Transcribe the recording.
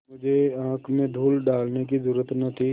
मुझे आँख में धूल डालने की जरुरत न थी